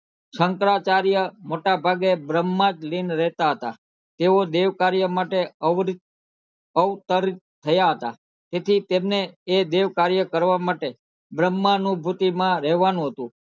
શંકરાચાર્ય મોટા ભાગે બ્રહ્મલિંન માં રેહતા હતા તેઓ દેવ કાર્ય માટે અવરિત અવતરિત થયા હતા તેથી તેમને એ દેવ કાર્ય કરવા માટે બ્રહ્મા નુ ભુતિ માં રહેવાનું હતું